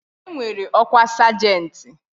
E nwere ọkwa sajenti.